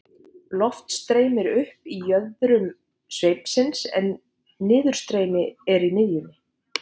loft streymir upp í jöðrum sveipsins en niðurstreymi er í miðjunni